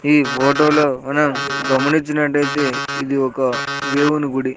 ఈ ఫొటో లో మనం గమనిచినటు అయితే ఇది ఒక దేవుని గుడి.